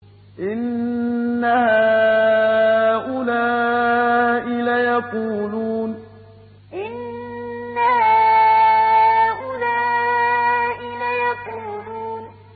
إِنَّ هَٰؤُلَاءِ لَيَقُولُونَ إِنَّ هَٰؤُلَاءِ لَيَقُولُونَ